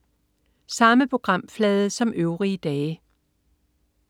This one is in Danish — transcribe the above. Samme programflade som øvrige dage